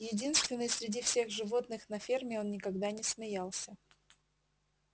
единственный среди всех животных на ферме он никогда не смеялся